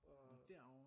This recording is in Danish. Nå derover